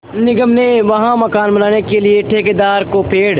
निगम ने वहाँ मकान बनाने के लिए ठेकेदार को पेड़